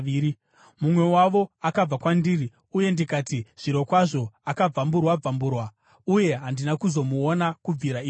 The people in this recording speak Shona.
Mumwe wavo akabva kwandiri, uye ndikati, “Zvirokwazvo akabvamburwa-bvamburwa.” Uye handina kuzomuona kubvira ipapo.